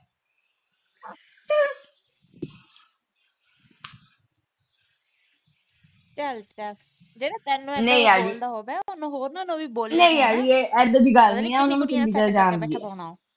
ਚਲ ਚਲ ਜਿਹੜਾ ਤੈਨੂੰ ਇਦਾਂ ਬੋਲਦਾ ਹੋਵੇ